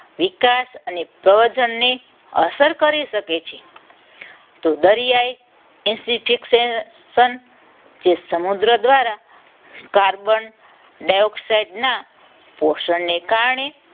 વિકાસ અને પ્રવચનની અસર કરી શકે છે. તો દરિયાઈ જે સમુદ્ર દ્વારા કાર્બન ડાયોક્સાઇડ ના પોષણને કારણે